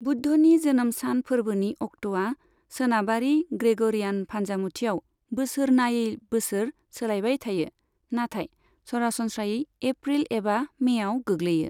बुद्धनि जोनोम सान फोरबोनि अक्ट'आ सोनाबारि ग्रेगरियान फान्जामुथियाव बोसोर नायै बोसोर सोलायबाय थायो, नाथाय सरासनस्रायै एप्रिल एबा मेयाव गोग्लैयो।